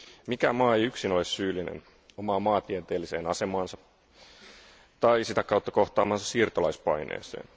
Mikään maa ei yksin ole syyllinen omaan maantieteelliseen asemaansa tai sitä kautta kohtaamaansa siirtolaispaineeseen.